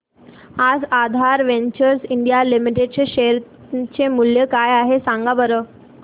आज Aadhaar ventures India limited चे शेअर चे मूल्य किती आहे सांगा बरं